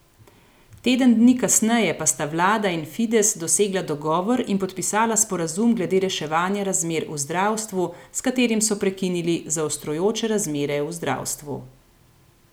Teden dni kasneje pa sta vlada in Fides dosegla dogovor in podpisala sporazum glede reševanja razmer v zdravstvu, s katerim so prekinili zaostrujoče razmere v zdravstvu.